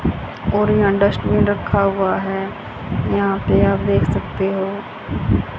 और यहां डस्टबिन रखा हुआ है यहां पे आप देख सकते हो--